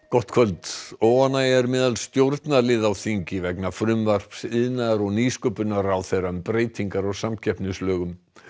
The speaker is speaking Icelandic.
gott kvöld óánægja er meðal stjórnarliða á þingi vegna frumvarps iðnaðar og nýsköpunarráðherra um breytingar á samkeppnislögum